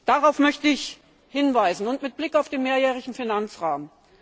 Darauf möchte ich hinweisen, mit Blick auf den mehrjährigen Finanzrahmen.